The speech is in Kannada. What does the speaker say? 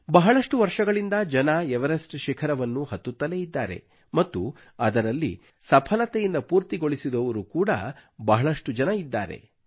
ಬಹಳಷ್ಟು ವರ್ಷಗಳಿಂದ ಜನರು ಎವರೆಸ್ಟ್ ಶಿಖರವನ್ನು ಹತ್ತುತ್ತಲೇ ಇದ್ದಾರೆ ಮತ್ತು ಅದರಲ್ಲಿ ಸಫಲತೆಯಿಂದ ಪೂರ್ತಿಗೊಳಿಸಿದವರು ಕೂಡ ಬಹಳಷ್ಟು ಜನ ಇದ್ದಾರೆ